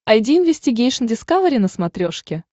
айди инвестигейшн дискавери на смотрешке